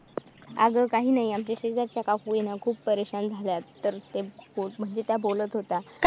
अगं काही नाही आमच्या शेजारच्या का होईना खूप झाल्यात तर त्या बोलत होत्या.